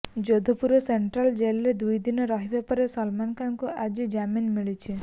Jodhpur central ଜେଲରେ ଦୁଇଦିନ ରହିବା ପରେ ସଲମାନଙ୍କୁ ଆଜି ଜାମିନ୍ ମିଳିଛି